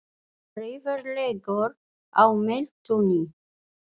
Refur liggur á meltunni.